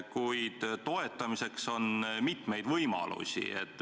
Kuid toetamiseks on mitmeid võimalusi.